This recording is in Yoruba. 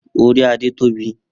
Ori Ade tobi.